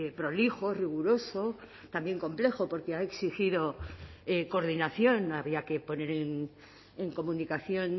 prolijo riguroso también complejo porque ha exigido coordinación había que poner en comunicación